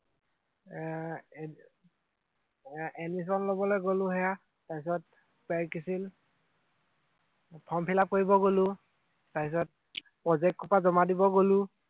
এৰ এডমিচন লবলৈ গলো সেইয়া, তাৰপিছত ফৰ্ম ফিল আপ কৰিব গলো, তাৰপিছত প্ৰজেক্ট সোপা জমা দিব গলো